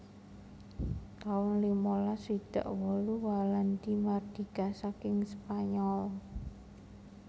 taun limalas swidak wolu Walandi mardika saking Spanyol